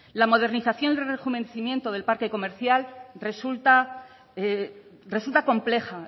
la modernización y rejuvenecimiento del parque comercial resulta compleja